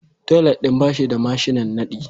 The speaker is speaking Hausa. Toilet din ba shi da mashinan nadi